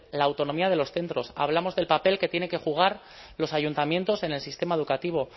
la autonomía de los centros hablamos del papel que tienen que jugar los ayuntamientos en el sistema educativo